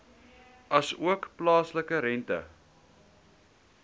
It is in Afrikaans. asook plaaslike rente